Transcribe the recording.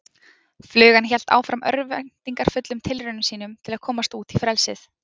Flugan hélt áfram örvæntingarfullum tilraunum sínum til að komast út í frelsið.